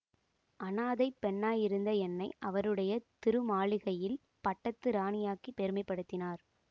அநாதைப் பெண்ணாயிருந்த என்னை அவருடைய திருமாளிகையில் பட்டத்து ராணியாக்கிப் பெருமைப்படுத்தினார்